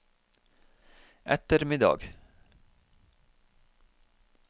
ettermiddag